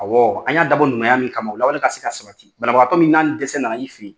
Awɔ an y'a dabɔ ɲumaya min kama o lawale ka se ka sabati banabagatɔ min n'an ni dɛsɛ na na i fɛ yi.